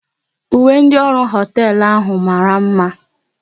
Uwe ndị ọrụ hoteelu ahụ mara mma